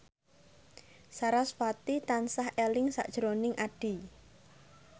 sarasvati tansah eling sakjroning Addie